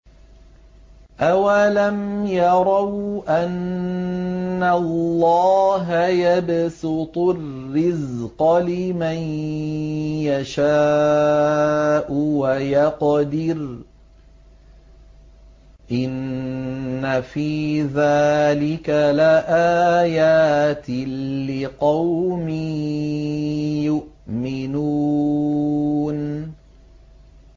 أَوَلَمْ يَرَوْا أَنَّ اللَّهَ يَبْسُطُ الرِّزْقَ لِمَن يَشَاءُ وَيَقْدِرُ ۚ إِنَّ فِي ذَٰلِكَ لَآيَاتٍ لِّقَوْمٍ يُؤْمِنُونَ